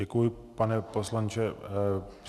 Děkuji, pane poslanče.